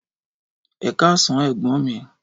Ẹkasan ẹgbọn mi